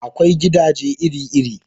Akwai gidaje iri iri